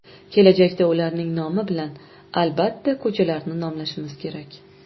Kelajakda ularning nomi bilan, albatta, ko‘chalarni nomlashimiz kerak.